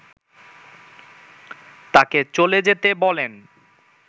তাকে চলে যেতে বলেন